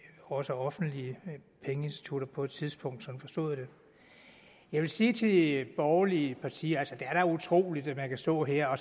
også offentlige pengeinstitutter på et tidspunkt jeg vil sige til de borgerlige partier at det er utroligt at man kan stå her og